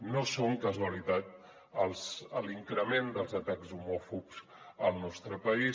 no és casualitat l’increment dels atacs homòfobs al nostre país